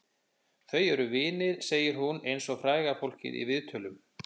Þau eru vinir, segir hún eins og fræga fólkið í viðtölum.